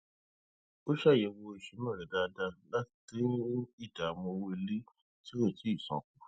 o ṣàyẹwò ìsúná rẹ dáadáa láti dín ìdààmú owó ilé tí kò tíì san tan kù